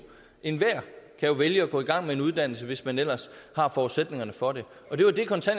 enhver kan jo vælge at gå i gang med en uddannelse hvis man ellers har forudsætningerne for det